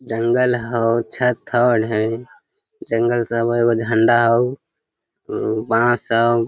जंगल हव छत हव ढेरी जंगल सब है ए गो झंडा ह अम बांस हव।